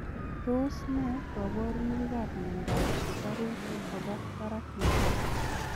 Tos nee kabarunoik ap miondoop sukaruuk kopaa barak netai ?